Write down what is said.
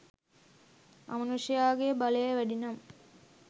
අමනුෂ්යාගේ බලය වැඩිනම්